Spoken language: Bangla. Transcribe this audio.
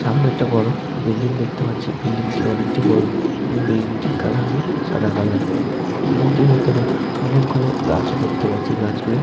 সামনে একটি বড় বিল্ডিং দেখতে পাচ্ছি বিল্ডিং টি অনেকটি বড় এবং বিল্ডিং টির কালার হল সাদা কালার বিল্ডিং টির ভেতরে অনেক গুলো গাছ ও দেখতে পাচ্ছি গাছ গুলো--